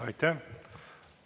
Aitäh!